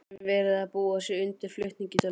Er verið að búa sig undir flutning til London?